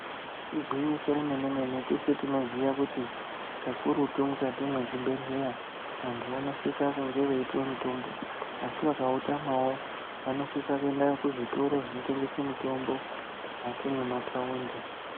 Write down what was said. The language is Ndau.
Igwinyiso remene-mene, teshe tinoziya kuti kakurutu mukati mwezvibhehleya, vantu vanosisa kunge veipuwa mutombo, asi vakautamawo vanosisa kuenda kuzvitoro zvinotengese mitombo, mukati mwemathaundi.